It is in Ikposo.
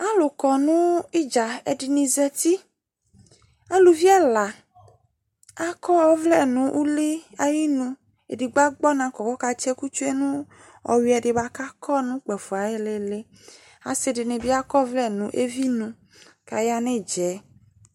Alʋ kɔ nʋ ɩdza, ɛdɩnɩ zati Aluvi ɛla Akɔ ɔvlɛ nʋ ʋlɩ ayinu Edigbo agbɔ ɔna kɔ kʋ ɔkatsɩ ɛkʋ tsue nʋ ɔyʋɛ dɩ bʋa kʋ akɔ nʋ ukpafo ayʋ ɩɩlɩ ɩɩlɩ Asɩ dɩnɩ bɩ akɔ ɔvlɛ nʋ evi nu kʋ aya nʋ ɩdza yɛ